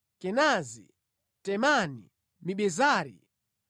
Kenazi, Temani, Mibezari,